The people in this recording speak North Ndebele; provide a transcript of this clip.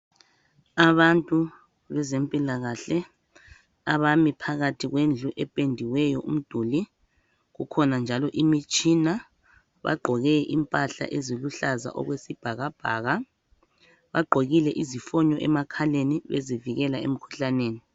Abantu bezempilakahle abami phakathi wendlu ependiweyo umduli. Kukhona njalo imitshina. Bagqoke impahla eziluhlaza okwesibhakabhaka, bagqokile izifonyo emakhaleni bezivikela emkhuhlaneni.